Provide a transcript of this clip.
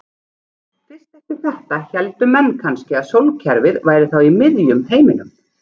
Fyrst eftir þetta héldu menn kannski að sólkerfið væri þá í miðjum heiminum.